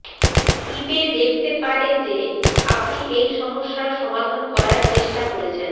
ইবে দেখতে পারে যে আপনি এই সমস্যার সমাধান করার চেষ্টা করেছেন